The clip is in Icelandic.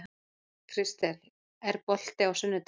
Kristel, er bolti á sunnudaginn?